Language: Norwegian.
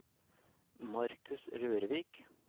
Marcus Rørvik